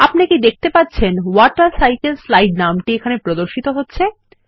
আপনি কি দেখতে পাচ্ছেন ওয়াটারসাইকেলসলাইড নামটি এখানে প্রদর্শিত হচ্ছে160